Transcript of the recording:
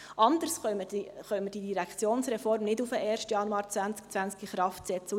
Anders können wir die Direktionsreform nicht auf den 1. Januar 2020 in Kraft setzen.